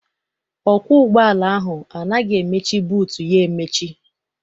Ọkwọ ụgbọala ahụ anaghị emechi buutu ya emechi.